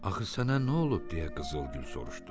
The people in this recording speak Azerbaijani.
Axı sənə nə olub deyə Qızıl Gül soruşdu.